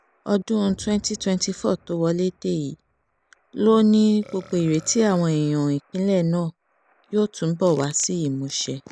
ọdún 2024 tó wọlé dé yìí ló ní gbogbo ìrètí àwọn èèyàn ìpínlẹ̀ náà yóò túbọ̀ wá sí ìmúṣẹ